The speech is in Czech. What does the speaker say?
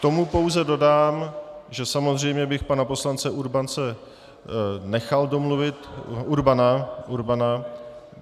K tomu pouze dodám, že samozřejmě bych pana poslance Urbance nechal domluvit...